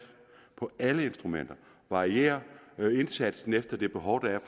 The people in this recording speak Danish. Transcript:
på alle instrumenter og varierer indsatsen efter de behov der er